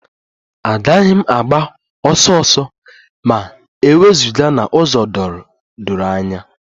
Agaghị m agba ọsọ ọsọ ma e wezụga n'ụzọ doro anya